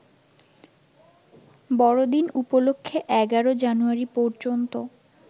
বড়দিন উপলক্ষে ১১ জানুয়ারি পর্যন্ত